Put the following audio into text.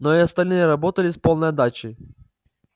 но и остальные работали с полной отдачей